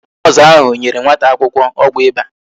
Noosu ahụ nyere nwata akwụkwọ ọgwụ ịba